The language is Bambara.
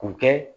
K'u kɛ